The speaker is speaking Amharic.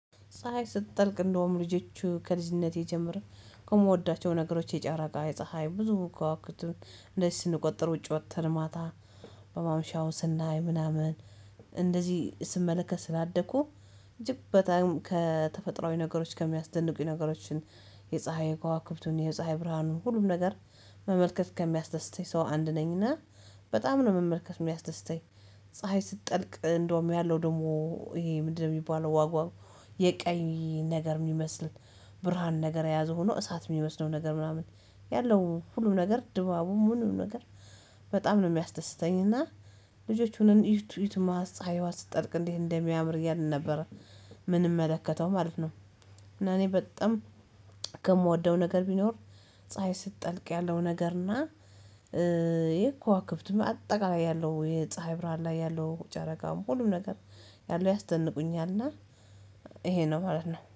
ፀሀይ ስትጠልቅ እንደውም ልጆቹ ከልጅነቴ ጀምሮ ከምወዳቸው ነገሮች የጨረቃ የፀሀይ ብዙ ክዋክብቱን እንደዚ ስንቆጠር ውጪ ወጥተን ማታ በማምሻው ስናይ ምናምን እንደዚህ ስመለከት ስላደኩ እጅግ በጣም ከተፈጥሮአዊ ነገሮች ከሚያስደንቁኝ ነገሮችን የፀሀይ ከዋክብቱን የፀሀይ ብርሃኑን ሁሉም ነገር መመልከት ከሚያስደስተኝ ሰው አንድ ነኝና በጣም ነው መመልከት የሚያስደስተኝ ፀሀይ ስትጠልቅ እንደውም ያለው ደግሞ ይሄ ምንድነው የሚባለው ዋግዋው የቀኝ ነገር የሚመስል ብርሃን ነገር የያዘ ሆኖ እሳት የሚመስለው ነገር ምናምን ያለው ሁሉም ነገር ድባቡ ምኑም ነገር በጣም ነው የሚያስደስተኝ እና ልጆቹን እዩት እዩትማ ፀሀይዋ ስትጠልቅ እንዴት እንደሚያምር እያልን ነበር ምንምመለከተው ማለት ነው እና እኔ በጣም ከምወደው ነገር ቢኖር ፀሀይ ስትጠልቅ ያለው ነገር እና ይሄ ከዋክብትም አጠቃላይ ያለው የፀሀይ ብርሃን ላይ ያለው ጨረቃም ሁሉም ነገር ያለው ያስደንቁኛልና ይሄ ነው ማለት ነው።